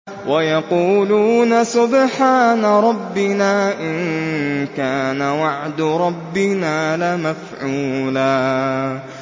وَيَقُولُونَ سُبْحَانَ رَبِّنَا إِن كَانَ وَعْدُ رَبِّنَا لَمَفْعُولًا